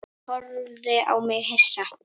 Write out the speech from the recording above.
Hún horfði á mig hissa.